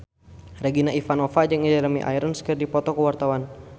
Regina Ivanova jeung Jeremy Irons keur dipoto ku wartawan